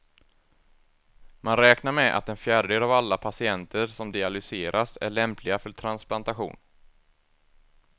Man räknar med att en fjärdedel av alla patienter som dialyseras är lämpliga för transplantation.